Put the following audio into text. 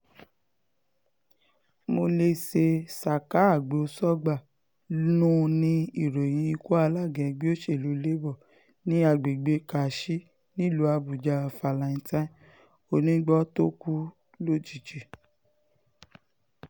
monèse saka agbó-sọgbà-nu ni ìròyìn ikú alága ẹgbẹ́ òsèlú labour ní agbègbè karshi nílùú àbújá valentine oníìgbọ́ tó kú lójijì